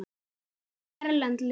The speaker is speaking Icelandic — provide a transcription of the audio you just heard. Hvað með erlend lið?